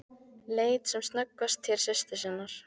Leit sem snöggvast til systur sinnar.